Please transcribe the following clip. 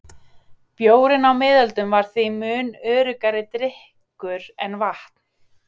Bjórinn á miðöldum var því mun öruggari drykkur en vatn.